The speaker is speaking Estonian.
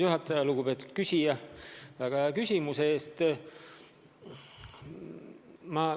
Aitäh, lugupeetud küsija, väga hea küsimuse eest!